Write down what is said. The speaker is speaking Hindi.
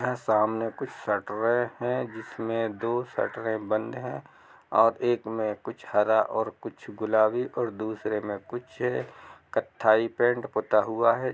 यहाँ सामने कुछ शटरें हैं जिसमे दो शटरें बंद हैं और एक में कुछ हरा और कुछ गुलाबी और दुसरे में कुछ है| कथथाई पेंट पुता हुआ है।